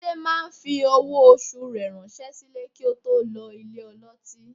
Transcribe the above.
Túndé máa fi owó oṣù rẹ ránṣẹ́ sílé kí ó tó lọ ìsọ̀ ọlọ́tí